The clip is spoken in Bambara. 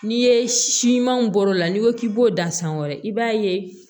N'i ye siman bɔr'o la n'i ko k'i b'o dan san wɛrɛ i b'a ye